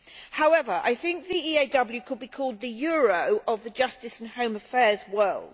However, I think the EAW could be called the euro of the justice and home affairs world.